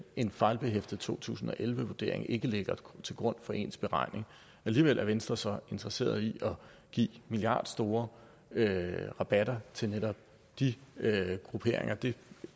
en fejlbehæftet to tusind og elleve vurdering ikke ligger til grund for ens beregning og alligevel er venstre så interesseret i at give milliardstore rabatter til netop de grupperinger det